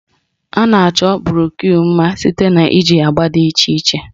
A na-achọ broshu mma site na iji agba dị iche iche